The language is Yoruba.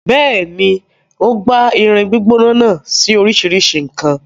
Bẹ́ẹ̀ni, o gbá irin gbígbóná náà sí oríṣìíríṣìí nǹkan.